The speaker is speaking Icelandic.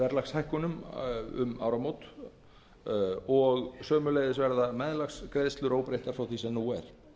árið tvö þúsund og tíu og sömuleiðis verða meðlagsgreiðslur óbreyttar frá því sem nú er